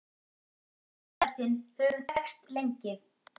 Við tengdafaðir þinn höfum þekkst lengi.